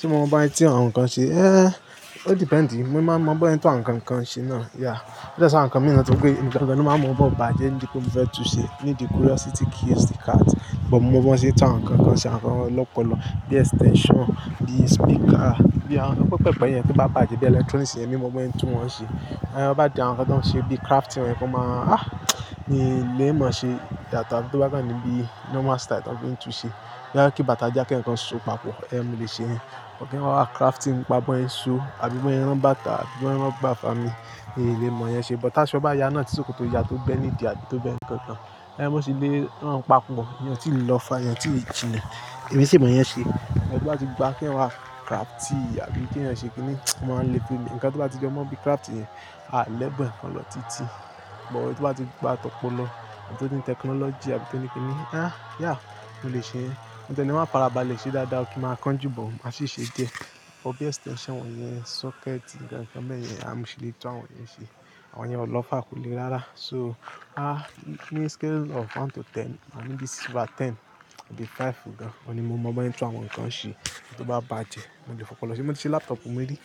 Tí mo mọ bó tun àwọn nǹkan ṣe? Eh, ó dependi. Mo máa mọ bón yẹ́n tun àwọn nǹkan kan ṣe náà, yeah. Bí yan àwọn nǹkan mìí tó se pé, emi gaa ni máa mọ mo baaàjẹ́ nítori mo fẹ́ tùú ṣẹ, o di curiosity kills the cat. But mo mọ bó ẹ́ ṣe ti àwọn nǹkan kan ṣe, àwọn nǹkan lọ́pọ̀lọpọ̀ bíi extension, bíi speaker, bí àwọn nǹkan pẹpẹpe yẹn tó bá bàjẹ́, bí electronics yẹn ni mo bọ yẹ́ tún wọn ṣe. Eh, bá di àwọn nǹkan tó ń ṣe bíi crafting yen, ó máa, ah! Mi ò lè mọ̀ ṣe daadaa to ba kan níbí normal style tọ́n fi ń tùú ṣẹ. To be je kí bàtà já k'eeyan kan ṣò papọ̀, eh, mo lè ṣe ẹ́. But kí wọn wá crafting, nipá bọ́ yẹ́n so àbí bọ́ yẹ́n rán bàtà, àbí bọ́ yẹ́n rán igbá fami, mi ò lè mọ̀ yẹn ṣe. But taṣọ bá ya náà tí sọ̀kọ̀ tó ya tó bẹ́ ní ìdí àbí tó bẹ́ nǹkan kan, eh, mo sì lé ran papọ̀, ìyẹn o ti lọ fà, ìyẹn tì jíle, èmi sì mọ̀ yẹn ṣe. Sugbon tó bá ti pá k'eeyan wá crafty àbí k'eeyan ṣe kíni, o máa ń le fun mi. Ǹkan tó bá ti jọ mọ bí crafty yẹn, a lè bun ẹ̀ kọn lọ títí. But ohun tó bá ti gba tọ́pọ̀ lọ, ohun tó dín technology àbí tó ní kíni, ah, yeah, mo lè ṣe ẹ́. Ǹde na wá farabalẹ̀ ṣe dáadáa kí máa kan jù, but máa sì ṣe dé. Ọ̀pọ̀ bí extension wọ́n yẹn, socket, nǹkan kan bẹ́ẹ̀ yẹn, a mọ ṣì lè tún àwọn yen ṣe. Àwọn yen ò lọ fà kò lè rárá. So, ah, in a scale of one to ten, maa ní bí ten di five gan-an, ọ̀ní mo mọ bó yẹ́ ń tún àwọn nǹkan ṣe. Ohun tó bá bàjẹ́, mo lè fọpọlọ ṣe. Mo ti ṣe laptopù mi rí,